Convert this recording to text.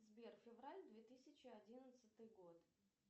сбер февраль две тысячи одиннадцатый год